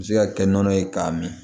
U bɛ se ka kɛ nɔnɔ ye k'a min